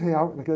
real, naquela